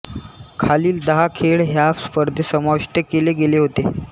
खालील दहा खेळ ह्या स्पर्धेत समाविष्ट केले गेले होते